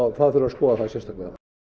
það þarf að skoða sérstaklega